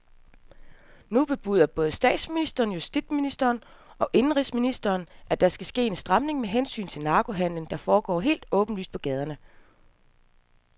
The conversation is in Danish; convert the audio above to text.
Nu bebuder både statsminister, justitsminister og indenrigsminister, at der skal ske en stramning med hensyn til narkohandelen, der foregår helt åbenlyst på gaderne.